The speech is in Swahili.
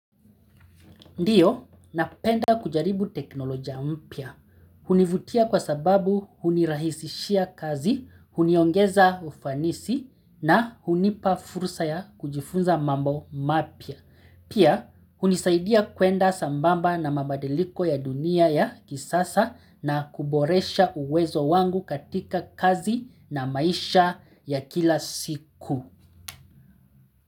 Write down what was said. Ndiyo, napenda kujaribu teknolojia mpya. Hunivutia kwa sababu hunirahisishia kazi, huniongeza ufanisi na hunipa fursa ya kujifunza mambo mapya. Pia, hunisaidia kwenda sambamba na mabadiliko ya dunia ya kisasa na kuboresha uwezo wangu katika kazi na maisha ya kila siku.